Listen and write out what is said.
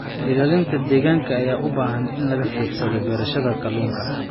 Ilaalinta deegaanka ayaa u baahan in laga fiirsado beerashada kalluunka.